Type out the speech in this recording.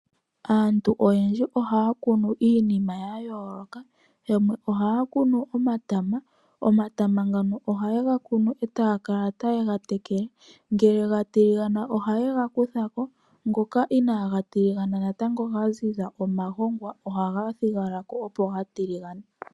Aantu oyendji ohaa kunu iinima ya yooloka. Yamwe ohaya kunu omatama. Omatama ngano ohaye ga kunu e taya kala taye ga tekele. Ngele ga tiligana ohaye ga kutha ko, ngoka inaaga tiligana natango ga ziza omagongwa ohaga thigala ko opo ga tiligane.